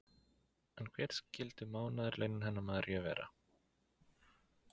En hver skyldu mánaðarlaunin hennar Maríu vera?